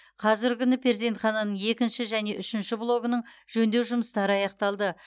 қазіргі күні перзентхананың екінші және үшінші блогының жөндеу жұмыстары аяқталды